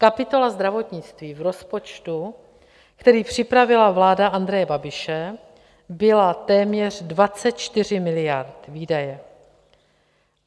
Kapitola zdravotnictví v rozpočtu, který připravila vláda Andreje Babiše, byla téměř 24 miliard výdaje.